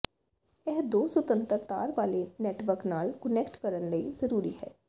ਇਹ ਦੋ ਸੁਤੰਤਰ ਤਾਰ ਵਾਲੇ ਨੈੱਟਵਰਕ ਨਾਲ ਕੁਨੈਕਟ ਕਰਨ ਲਈ ਜ਼ਰੂਰੀ ਹੈ